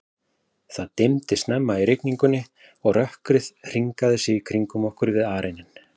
Það dimmdi snemma í rigningunni, og rökkrið hringaði sig í kringum okkur við arininn.